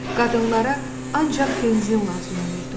Qadınlara ancaq benzin lazım olurdu.